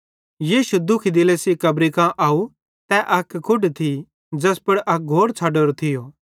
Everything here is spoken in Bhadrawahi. यीशु दुखी दिले सेइं कब्री कां आव तै अक कुढ थी ज़ैस पुड़ अक घोड़ छ़डोरो थियो